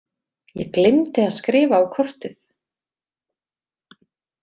Ég gleymdi að skrifa á kortið.